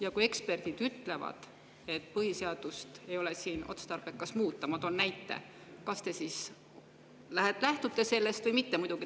Ja kui eksperdid ütlevad, et põhiseadust ei ole otstarbekas muuta – ma toon näite –, kas te siis lähtute sellest või mitte?